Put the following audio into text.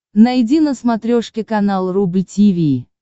найди на смотрешке канал рубль ти ви